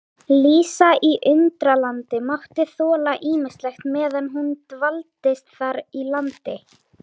Lísa í Undralandi mátti þola ýmislegt meðan hún dvaldist þar í landi.